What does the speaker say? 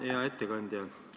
Hea ettekandja!